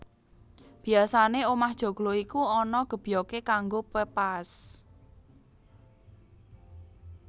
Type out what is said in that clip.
Biasané omah joglo iku ana gebyogé kanggo pepaès